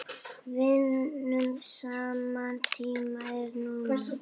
Vinnum saman Tíminn er núna.